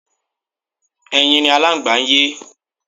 Ẹyin ni Aláǹgbá ń yé.